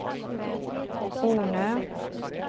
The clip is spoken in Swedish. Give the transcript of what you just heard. Ornö